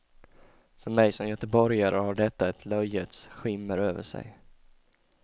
För mig som göteborgare har detta ett löjets skimmer över sig.